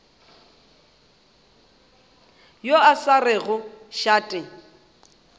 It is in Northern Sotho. yo a sa rego šate